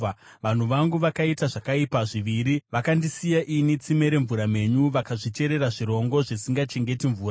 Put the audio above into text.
“Vanhu vangu vakaita zvakaipa zviviri: Vakandisiya ini, tsime remvura mhenyu, vakazvicherera zvirongo zvisingachengeti mvura.